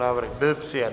Návrh byl přijat.